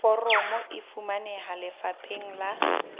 foromo e fumaneha lefapheng la